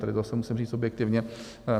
To zase musím říct objektivně.